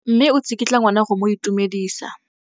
Mme o tsikitla ngwana go mo itumedisa.